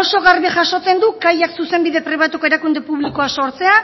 oso garbi jasotzen du kaiak zuzenbide pribatuko erakunde publikoa sortzea